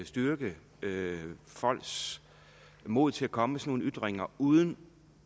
styrke folks mod til at komme med sådan nogle ytringer uden